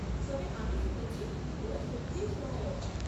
তবে আমি শুনেছি ওঁরা সত্যি সহায়ক।